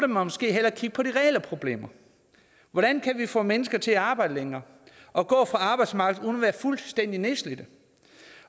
måske hellere kigge på de reelle problemer hvordan kan vi få mennesker til at arbejde længere og gå fra arbejdsmarkedet uden at være fuldstændig nedslidte